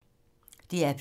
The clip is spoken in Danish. DR P2